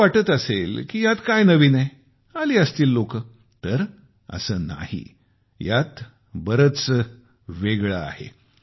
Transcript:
तुम्हाला वाटत असेल यात काय नवीन आहे आली असतील लोकं तर असे नाही यात बरेच नवीन आहे